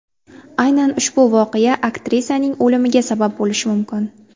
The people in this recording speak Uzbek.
Aynan ushbu voqea aktrisaning o‘limiga sabab bo‘lishi mumkin.